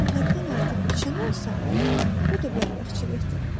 Əgər o həddən artıq içən olsa, o da bərbadçilikdir.